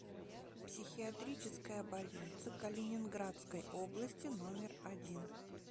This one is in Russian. психиатрическая больница калининградской области номер один